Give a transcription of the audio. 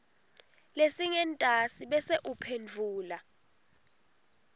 lesingentasi bese uphendvula